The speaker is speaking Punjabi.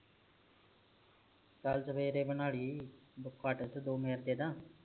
ਚੱਲ ਸਵੇਰੇ ਬਣਾਲੀ ਵਿਚ ਦੋ ਮਿੰਟ ਦੇ ਦਾ